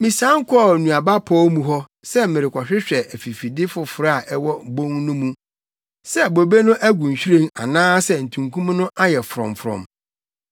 Misian kɔɔ nnuaba pɔw mu hɔ sɛ merekɔhwehwɛ afifide foforo a ɛwɔ obon no mu, sɛ bobe no agu nhwiren, anaasɛ ntunkum no ayɛ frɔmfrɔm.